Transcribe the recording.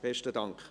Besten Dank.